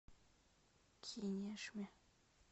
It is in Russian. кинешме